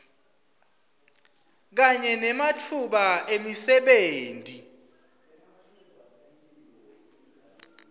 kanye nematfuba emisebenti